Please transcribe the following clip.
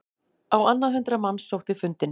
Á annað hundrað manns sótti fundinn